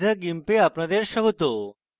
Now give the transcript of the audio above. meet the gimp এ আপনাদের স্বাগত